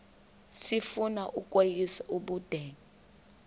sifuna ukweyis ubudenge